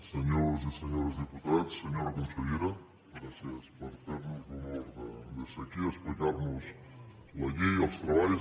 senyores i senyors diputats senyora consellera gràcies per fer nos l’honor de ser aquí explicar nos la llei els treballs